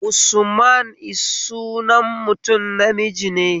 Usman is sunan mutum namiji ne